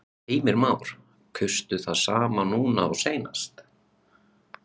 Heimir Már: Kaustu það sama núna og síðast?